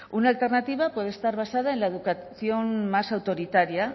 una alternativa puede estar basada en la educación más autoritaria